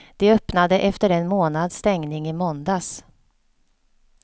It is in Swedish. De öppnade efter en månads stängning i måndags.